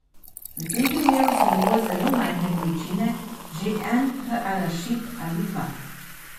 V tem primeru so dovolj zelo majhne količine, že en arašid ali dva.